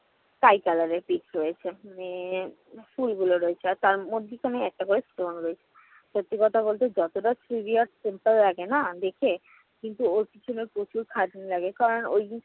sky color এর pic রয়েছে। মানে ফুলগুলো রয়েছে। আর তার মধ্যিখানে একটা করে stone রয়েছে। সত্যি কথা বলতে যতটা Scooby আর simple লাগে না দেখে? কিন্তু ওর পেছনে প্রচুর খাটনি লাগে। কারণ ওই